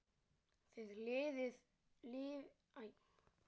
Þið lifið áfram með okkur.